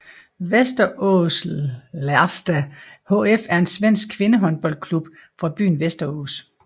VästeråsIrsta HF er en svensk kvindehåndboldklub fra byen Västerås